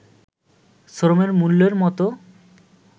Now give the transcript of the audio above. শ্রমের মূল্যের মতো